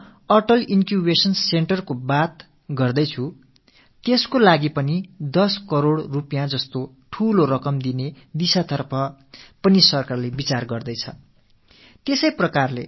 நான் Atal incubation centre பற்றிப் பேசும் போது இதற்கென 10 கோடி ரூபாய் என்ற பெருந்தொகை அளிப்பது பற்றிக் கூட அரசு சிந்தித்திருக்கிறது